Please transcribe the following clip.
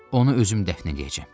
Onu özüm dəfn eləyəcəm.